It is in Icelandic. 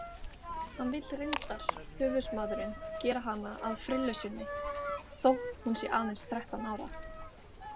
Hann vill reyndar, höfuðsmaðurinn, gera hana að frillu sinni þótt hún sé aðeins þrettán ára.